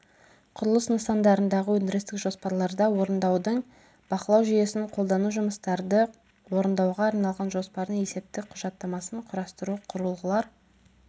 құрылыс нысандарындағы өндірістік жоспарларда орындаудың бақылау жүйесін қолдану жұмыстарды орындауға арналған жоспардың есептік құжаттамасын құрастыру құрылғылар